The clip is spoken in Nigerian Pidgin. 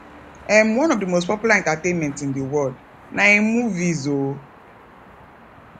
um one of the most popular entertainment in the world na um movies um